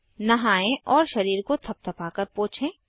नहाएं और शरीर को थपथपाकर पोछें